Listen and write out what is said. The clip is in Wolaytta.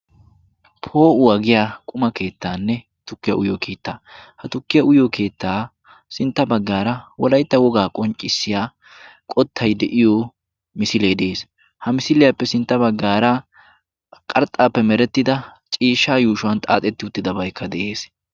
Poo'uwaa giyaa quma keettanne tukkiya uyyiyo keettaa. Ha tukkiya uyyiyo keettaa sintta baggaara wolayttaa wogaa qonccissiyaa qottay de'iyo misilee de'ees. Ha misiliyaappe sintta baggaara qarxxappe meretidda ciishshaa yuushshuwaa xaaxxeti uttidabaykka de'ees.